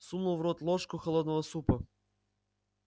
сунул в рот ложку холодного супа